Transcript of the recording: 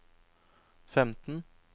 femten